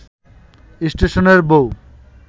স্টেশনের বউ